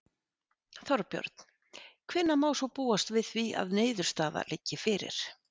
Þorbjörn: Hvenær má svo búast við því að niðurstaða liggi fyrir?